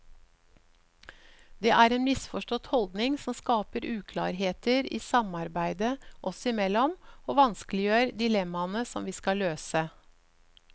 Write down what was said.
Det er en misforstått holdning som skaper uklarheter i samarbeidet oss imellom og vanskeliggjør dilemmaene som vi skal løse.